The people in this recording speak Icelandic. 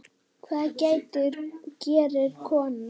Hvað gerir kona?